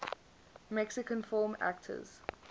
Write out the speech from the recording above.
mexican film actors